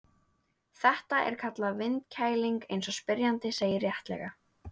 Þetta er kallað vindkæling eins og spyrjandi segir réttilega.